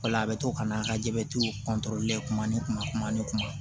O la a bɛ to ka n'a ka jabɛti kuma ni kuma kuma ni kuma